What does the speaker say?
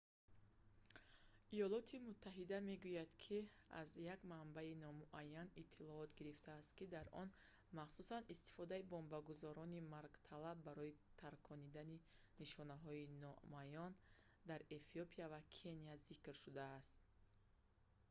иёлоти муттаҳида мегӯяд ки аз як манбаи номуайян иттилоот гирифтааст ки дар он махсусан истифодаи бомбгузорони маргталаб барои таркондан нишонаҳои намоёнs дар эфиопия ва кения зикр шудааст